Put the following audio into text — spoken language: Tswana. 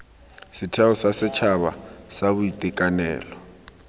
setheo sa setšhaba sa boitekanelo